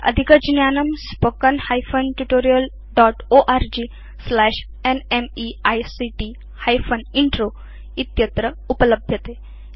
अस्य अधिकज्ञानम् spoken hyphen tutorial dot org slash NMEICT hyphen intro इत्यत्र उपलभ्यते